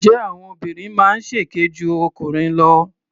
Ǹjẹ́ àwọn obìnrin máa ń ṣèké ju ọkùnrin lọ?